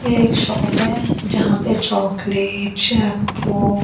यह एक शॉप हे यहां पे चॉकलेट शैम्पू --